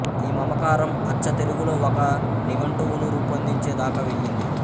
ఈ మమకారం అచ్చతెలుగులో ఒక నిఘంటువును రూపొందించే దాకా వెళ్ళింది